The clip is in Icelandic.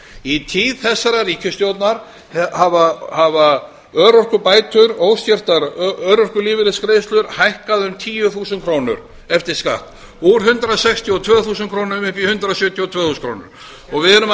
í tíð þessarar ríkisstjórnar hafa örorkubætur óskertar örorkulífeyrisgreiðslur hækkað um tíu þúsund krónur eftir skatt úr hundrað sextíu og tvö þúsund krónum upp í hundrað sjötíu og tvö þúsund krónur við erum að